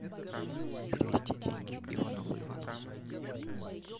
перевести деньги иванову иванову